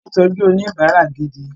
Wọ́n ní ìtọ́jú oníbárà gidi.